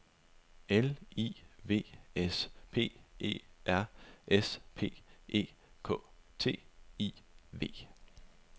L I V S P E R S P E K T I V